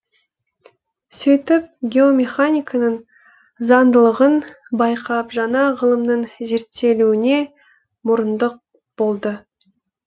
сөйтіп геомеханиканың заңдылығын байқап жаңа ғылымның зерттелуіне мұрындық болды